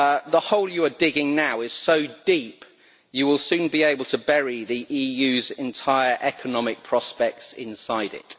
The hole you are digging now is so deep you will soon be able to bury the EU's entire economic prospects inside it.